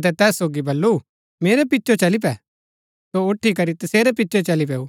अतै तैस सोगी बल्लू मेरै पिचो चली पै सो उठी करी तेसेरै पिचो चली पैऊ